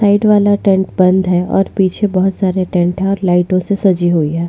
Side वाला tent बंद है और पीछे बहुत सारे टेंट है और लाइटो से सजी हुई है।